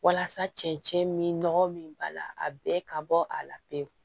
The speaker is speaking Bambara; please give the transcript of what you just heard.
Walasa cɛncɛn min nɔgɔ min b'a la a bɛɛ ka bɔ a la pewu